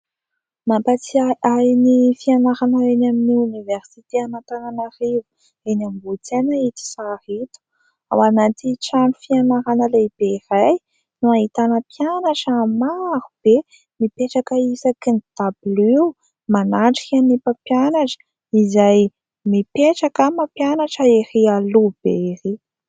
Mampatsiahy ny fianarana eny amin'ny oniversity an'Antananarivo eny Ambohitsaina ito sary ito. Ao anaty trano fianarana lehibe iray no ahitana mpianatra maro be mipetraka isakin'ny dabilio manatrika ny mpampianatra izay mipetraka mampianatra ery aloha be ery.